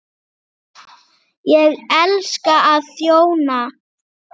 Ég elska að þjóna.